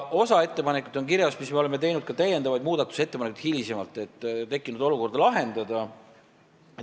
Oleme teinud hiljem ka täiendavaid muudatusettepanekuid, et tekkinud olukorda lahendada.